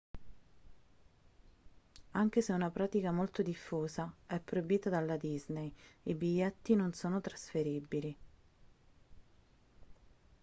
anche se è una pratica molto diffusa è proibita dalla disney i biglietti non sono trasferibili